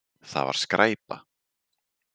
Það var skræpa.